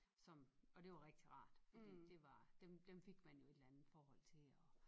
Som og det var rigtig rart fordi det var dem dem fik man jo et eller andet forhold til og